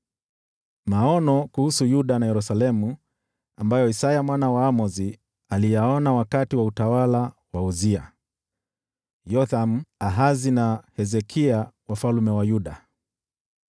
Maono kuhusu Yuda na Yerusalemu ambayo Isaya mwana wa Amozi aliyaona wakati wa utawala wa Uzia, Yothamu, Ahazi na Hezekia, wafalme wa Yuda.